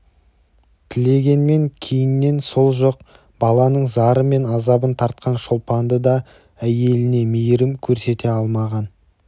тілегенмен кейіннен сол жоқ баланың зары мен азабын тартқан шолпанды да әйеліне мейірім көрсете алмаған